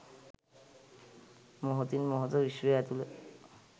මොහොතින් මොහොත විශ්වය ඇතුළු